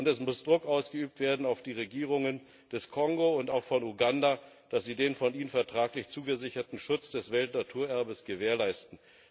Und es muss Druck ausgeübt werden auf die Regierungen des Kongo und auch von Uganda, dass sie den von ihnen vertraglich zugesicherten Schutz des Weltnaturerbes gewährleisten.